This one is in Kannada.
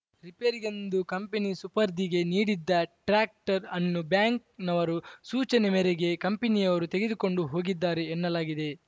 ರಿಪೇರಿಗೆಂದು ಕಂಪನಿ ಸುಪರ್ದಿಗೆ ನೀಡಿದ್ದ ಟ್ರಾಕ್ಟರ್‌ ಅನ್ನು ಬ್ಯಾಂಕ್‌ ನವರ ಸೂಚನೆ ಮೇರೆಗೆ ಕಂಪನಿಯವರು ತೆಗೆದುಕೊಂಡು ಹೋಗಿದ್ದಾರೆ ಎನ್ನಲಾಗಿದೆ